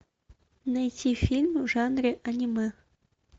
найти фильм в жанре аниме